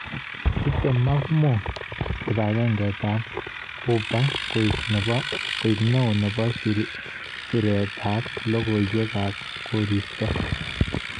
Chuute Mark Moore kibang'eng'etab Uber koeng neo nebo sirikab logowekab koristo.